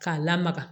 K'a lamaga